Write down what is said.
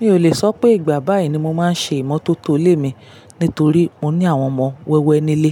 Mi ò lè sọ pé ìgbà báyìí ni mo máa ń ṣe ìmọ́tótó ilé mi nítorí mo ní àwọn ọmọ wẹ́wẹ́ nílé.